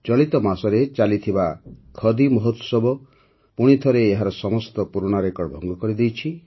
ଚଳିତ ମାସରେ ଚାଲିଥିବା ଖଦି ମହୋତ୍ସବ ପୁଣିଥରେ ଏହାର ସମସ୍ତ ପୁରୁଣା ରେକର୍ଡ଼ ଭଙ୍ଗ କରିଦେଇଛି